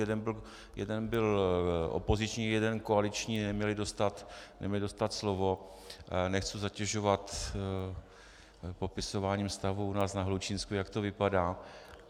Jeden byl opoziční, jeden koaliční, neměli dostat slovo, nechci zatěžovat popisováním stavu u nás na Hlučínsku, jak to vypadá.